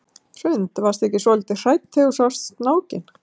Hrund: Varstu ekki svolítið hrædd þegar þú sást snákinn?